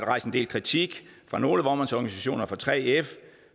rejst en del kritik fra nogle vognmandsorganisationer og fra 3f